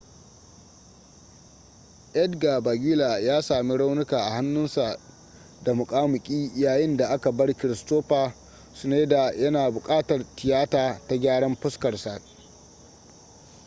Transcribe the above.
edgar veguilla ya sami raunuka a hannusa da muƙamuƙi yayin da aka bar kristoffer schneider yana buƙatar tiyata ta gyaran fuskar sa